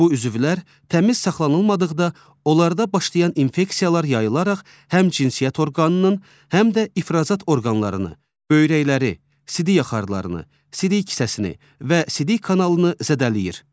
Bu üzvlər təmiz saxlanılmadıqda, onlarda başlayan infeksiyalar yayılaraq həm cinsiyyət orqanının, həm də ifrazat orqanlarını, böyrəkləri, sidik axarlarını, sidik kisəsini və sidik kanalını zədələyir.